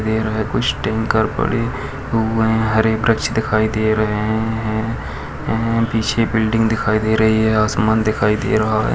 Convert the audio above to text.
कुछ टैंकर पड़े हुए हरे वृक्ष दिखाई दे रहे है हाँ पीछे बिल्डिंग दिखाई दे रही है आसमान दिखाई दे रहा है।